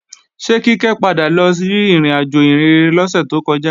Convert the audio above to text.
Ṣé Kíkẹ́ padà lọ sí ìrìnàjò ìhìnrere lọ́sẹ̀ tó kọjá?